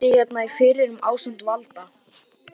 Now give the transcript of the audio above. Ég er bóndi hérna í firðinum ásamt Valda